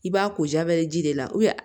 I b'a ko jabɛti de la